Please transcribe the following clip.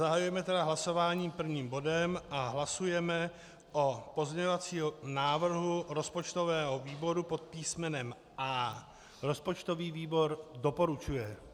Zahajujeme tedy hlasování prvním bodem a hlasujeme o pozměňovacím návrhu rozpočtového výboru pod písmenem A. Rozpočtový výbor doporučuje.